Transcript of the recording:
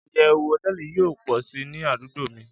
iyewu hoteeli yio po si ni adugbo mi